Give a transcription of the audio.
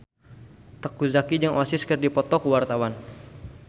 Teuku Zacky jeung Oasis keur dipoto ku wartawan